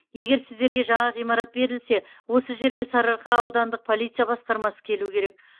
егер сіздерге жаңа ғимарат берілсе осы жерге сарыарқа аудандық полиция басқармасы келу керек